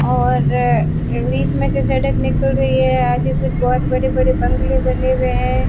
और अ बीच में से सड़क निकल रही है आगे से बहोत बड़े बड़े बंगले बने हुए हैं।